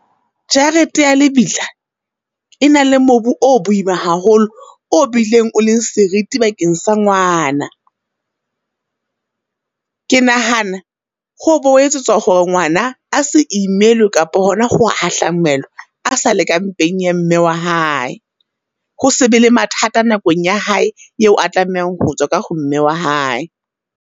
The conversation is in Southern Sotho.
Jarete ya lebitla, e na le mobu o boima haholo, o bileng o leng seriti bakeng sa ngwana. Ke nahana ho o bo ho etsetswa hore ngwana, a se imelwe kapa hona ho hahlamelwa a sa le ka mpeng ya mme wa hae. Ho se be le mathata nakong ya hae eo a tlamehang ho tswa ka ho mme wa hae.